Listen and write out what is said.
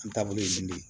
An taabolo ye nin de ye